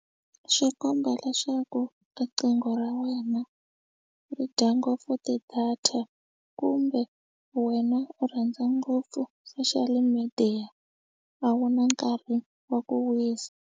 Swi komba leswaku riqingho ra wena ri dya ngopfu ti-data kumbe wena u rhandza ngopfu social media a wu na nkarhi wa ku wisa.